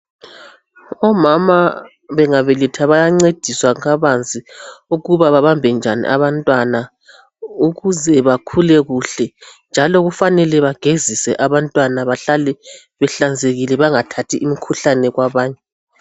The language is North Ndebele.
Omama bengabeletha bayancediswa kabanzi ukuba babambe njani abantwana ukuze bakhule kuhle njalo kufanele bagezise abantwana bahlale behlanzekile bangathathi imikhuhlane kwabanye.